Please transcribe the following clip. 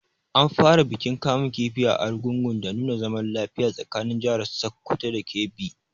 An fara bikin kamun kifi a Argungun dan nuna zaman lafiya tsakanin jahar Sokoto da Kebbi